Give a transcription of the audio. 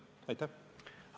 Aitäh!